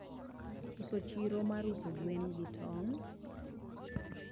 koso chiro mar uso gwen gi tong'.